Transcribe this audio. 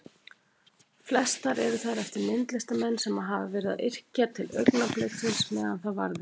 Flestar eru þær eftir myndlistarmenn sem hafa verið að yrkja til augnabliksins meðan það varði.